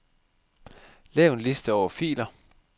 Lav en liste over filer.